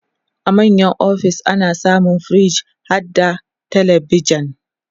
a manya ofis ana samun firij harda telebijan